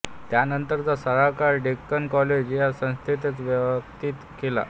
त्यानंतरचा सारा काळ डेक्कन कॉलेज या संस्थेतच व्यतीत केला